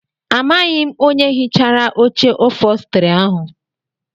Amaghị m onye hichara oche ofostri ahụ.